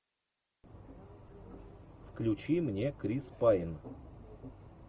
включи мне крис пэйн